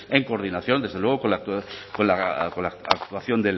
en coordinación desde luego con la actuación